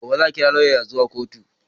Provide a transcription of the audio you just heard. Gobe za a kirawo lauyan zuwa kotu